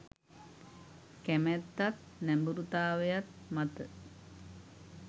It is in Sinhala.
කැමැතත් නැඹුරුතාවයත් මත.